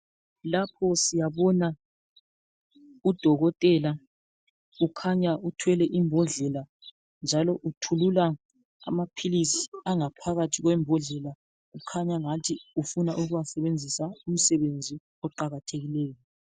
Lapho siyabona udokotela ukhanya uthwele imbodlela njalo uthulula amaphilisi angaphakathi kwembodlela kukhanya angathi ufuna ukuwasebenzisa umsebenzi oqakathekileyo.